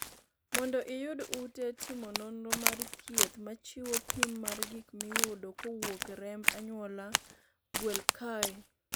mondo iyud ute timo nonro mar thieth machiwo pim mar gik miyudo kowuok e remb anyuola ,gwel kae